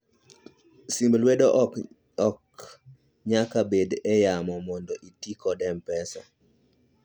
simb lwedo ok nyaka bed e yamo mondo iti kod mpesa